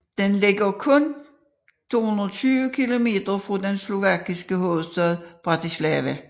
Den ligger kun 220 kilometer fra den slovakiske hovedstad Bratislava